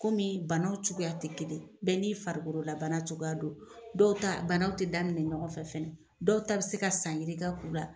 Kɔmi banaw cogoya ti kelen ye bɛɛ n'i farikolola bana cogoya don, dɔw ta banaw ti daminɛ ɲɔgɔnfɛ fɛnɛ, dɔw ta bi se ka san yirika k'u la.